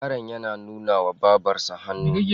Yaron yana nunawa Babarsa hannu.